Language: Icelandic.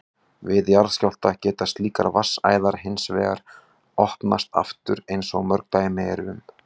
Við jarðskjálfta geta slíkar vatnsæðar hins vegar opnast aftur eins og mörg dæmi eru um.